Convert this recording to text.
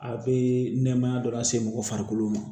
A bɛ nɛmaya dɔ lase mɔgɔ farikolo ma